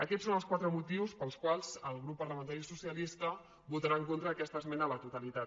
aquests són els quatre motius pels quals el grup parlamentari socialista votarà en contra d’aquesta esmena a la totalitat